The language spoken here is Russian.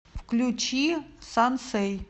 включи сансэй